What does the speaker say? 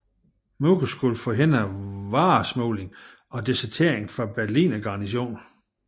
Muren skulle forhindre varesmugling og desertering fra Berlingarnisonen